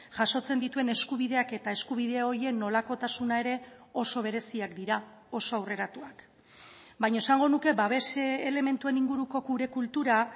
jasotzen dituen eskubideak eta eskubide horien nolakotasuna ere oso bereziak dira oso aurreratuak baina esango nuke babes elementuen inguruko gure kultura